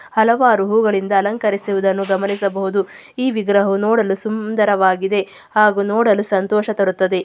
. ಹಲವಾರು ಹೂಗಳಿಂದ ಅಲಂಕರಿಸುದನ್ನು ಗಮನಿಸಬಹುದು. ಈ ವಿಗ್ರಹವು ನೋಡಲು ಸುಂದರವಾಗಿದೆ. ಹಾಗು ನೋಡಲು ಸಂತೋಷ ತರುತ್ತದೆ.